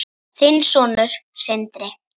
Þinn sonur, Sindri.